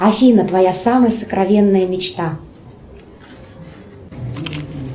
афина твоя самая сокровенная мечта